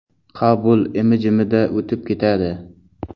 Qabul imi-jimida o‘tib ketadi.